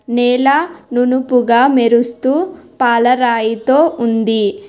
నేల నునుపుగా మెరుస్తూ పాలరాయితో ఉంది.